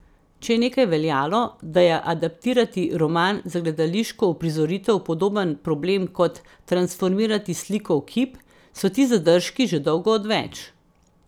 Če je nekdaj veljalo, da je adaptirati roman za gledališko uprizoritev podoben problem kot transformirati sliko v kip, so ti zadržki že dolgo odveč.